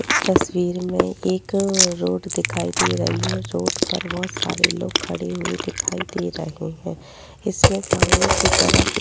इस तस्वीर में एक रोड दिखाई दे रही है। रोड पर बहोत सारे लोग खड़े हुए दिखाई दे रहे हैं इसमें सामने की तरफ --